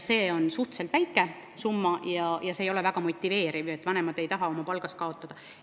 See on suhteliselt väike summa ega ole väga motiveeriv, vanemad ei taha palgas kaotada.